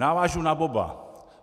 Navážu na oba.